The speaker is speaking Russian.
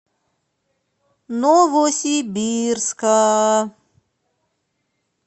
новосибирска